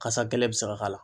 Kasa gɛlɛn bɛ se ka k'a la.